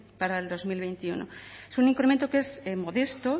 para el dos mil veintiuno es un incremento que es modesto